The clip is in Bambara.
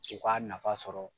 U k'a nafa sɔrɔ.